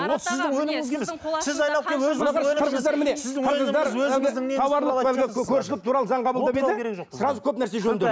ол сіздің өніміңізге емес